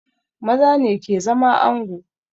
Maza ne ke zama ango